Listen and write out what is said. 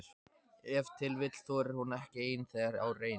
Ef til vill þorir hún ekki ein þegar á reynir?